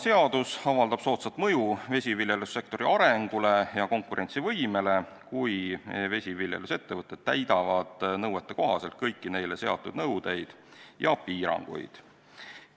Seadus avaldab soodsat mõju vesiviljelussektori arengule ja konkurentsivõimele, kui vesiviljelusettevõtted täidavad kõiki neile seatud nõudeid ja piiranguid.